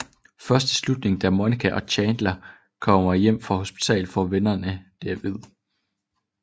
Først i slutningen da Monica og Chandler kommer hjem fra hospitalet får vennerne det at vide